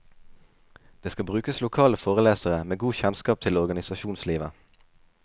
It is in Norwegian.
Det skal brukes lokale forelesere, med godt kjennskap til organisasjonslivet.